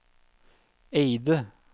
Eide